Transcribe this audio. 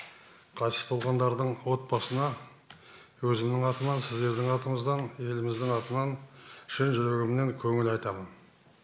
қайтыс болғандардың отбасына өзімнің атымнан сіздердің атыңыздан еліміздің атынан шын жүрегімнен көңіл айтамын